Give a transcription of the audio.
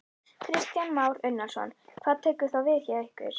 Kristján Már Unnarsson: Hvað tekur þá við hjá ykkur?